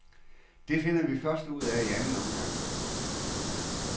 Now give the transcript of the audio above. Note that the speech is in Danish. Det finder vi først ud af i anden omgang.